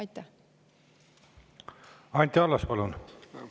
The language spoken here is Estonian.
Anti Allas, palun!